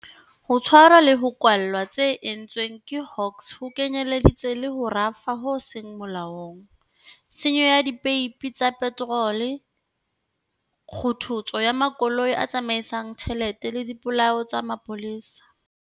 Ho tshwarwa le ho kwallwa tse entsweng ke Hawks ho kenyeleditse le ho rafa ho seng molaong, tshenyo ya dipeipi tsa peterole, kgothotso ya makoloi a tsamaisang tjhelete le dipolao tsa mapolesa.